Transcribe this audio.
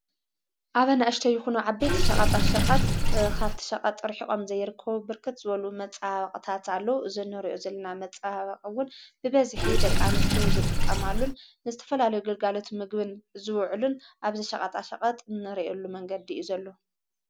ኣብ ኣናእሽተይ ይኩኑ ዓበይትን ሸቐጣ ሸቐጥ ኻፍቲ ሸቐጥ ርሒቖም ዘይርከዉቡ ብርከት ዝበሉ መፃሓቕታት ኣለዉ ዝነርዮ ዘለና መፃሃባቕውን ብበዝኂ ደቃኑስትዮ ዝጥቀማሉን ንዝተፈላለዩግልጋሎቱ ምግብን ዝውዕሉን ኣብዚ ሻቓጣ ሸቐጥ እንርየሉ መንገዲ እዩ ዘሎ።